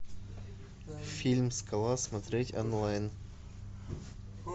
фильм скала смотреть онлайн